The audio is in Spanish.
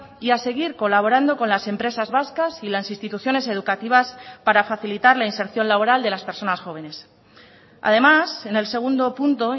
y a seguir colaborando con las empresas vascas y las instituciones educativas para facilitar la inserción laboral de las personas jóvenes además en el segundo punto